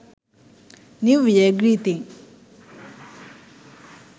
new year greeting